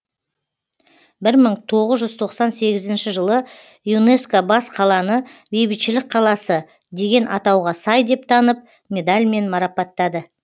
бір мың тоғыз жүз тоқсан сегізінші жылы юнеско бас қаланы бейбітшілік қаласы деген атауға сай деп танып медальмен марапаттады